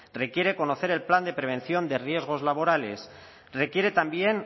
requiere conocer el plan de prevención de riesgos laborales requiere también